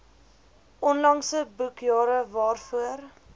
onlangse boekjare waarvoor